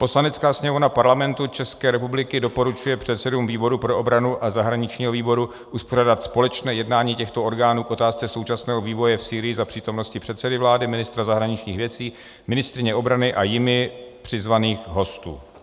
"Poslanecká sněmovna Parlamentu České republiky doporučuje předsedům výboru pro obranu a zahraničního výboru uspořádat společné jednání těchto orgánů k otázce současného vývoje v Sýrii za přítomnosti předsedy vlády, ministra zahraničních věcí, ministryně obrany a jimi přizvaných hostů."